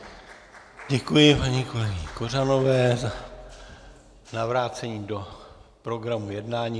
Děkuji paní kolegyni Kořanové za vrácení do programu jednání.